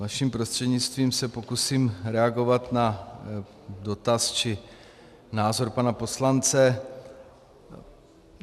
Vaším prostřednictvím se pokusím reagovat na dotaz či názor pana poslance.